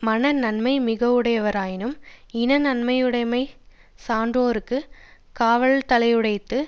மன நன்மை மிக வுடையராயினும் இன நன்மை யுடைமை சான்றோர்க்குக் காவலாதலையுடைத்து